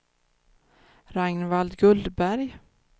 Ragnvald Gullberg